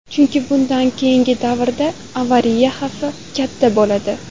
Chunki bundan keyingi davrda avariya xavfi katta bo‘ladi.